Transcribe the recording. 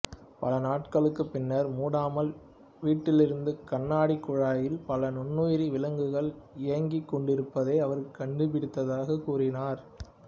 பலநாட்களுக்குப் பின்னர் மூடாமல் விட்டிருந்த கண்ணாடிக் குழாயில் பல நுண்ணுயிர் விலங்குகள் இயங்கிக் கொண்டிருப்பதை அவர் கண்டுபிடித்ததாகக் கூறியிருந்தார்